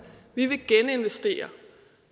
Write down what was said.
vi vil geninvestere